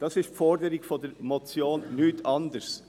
Dies ist die Forderung der Motion, nichts anderes.